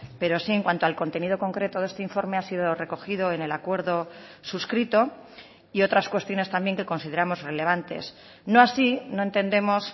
pero sí en cuanto al contenido concreto de este informe ha sido recogido en el acuerdo suscrito y otras cuestiones también que consideramos relevantes no así no entendemos